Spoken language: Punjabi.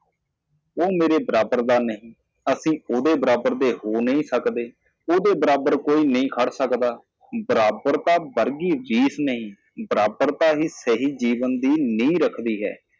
ਉਹ ਮੇਰੇ ਬਰਾਬਰ ਨਹੀਂ ਹੈ ਅਸੀਂ ਉਸਦੇ ਬਰਾਬਰ ਨਹੀਂ ਹੋ ਸਕਦੇ ਕੋਈ ਵੀ ਉਸ ਦੇ ਸਾਹਮਣੇ ਖੜ੍ਹਾ ਨਹੀਂ ਹੋ ਸਕਦਾ ਬਿਲਕੁਲ ਇੱਕੋ ਚੀਜ਼ ਨਹੀਂ ਬਰਾਬਰ ਸਹੀ ਜੀਵਨ ਦੀ ਨੀਂਹ ਰੱਖਦਾ ਹੈ